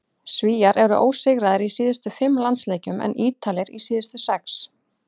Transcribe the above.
Svíar eru ósigraðir í síðustu fimm landsleikjum en Ítalir í síðustu sex.